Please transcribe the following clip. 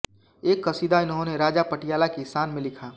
एक क़सीदा इन्होंने राजा पटियाला की शान में लिखा